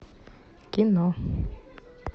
кино